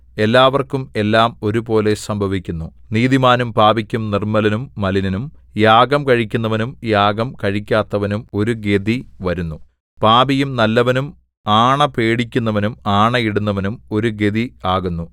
എല്ലാവർക്കും എല്ലാം ഒരുപോലെ സംഭവിക്കുന്നു നീതിമാനും പാപിക്കും നിർമ്മലനും മലിനനും യാഗം കഴിക്കുന്നവനും യാഗം കഴിക്കാത്തവനും ഒരു ഗതി വരുന്നു പാപിയും നല്ലവനും ആണ പേടിക്കുന്നവനും ആണയിടുന്നവനും ഒരു ഗതി ആകുന്നു